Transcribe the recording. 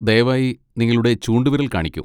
ദയവായി നിങ്ങളുടെ ചൂണ്ടുവിരൽ കാണിക്കൂ.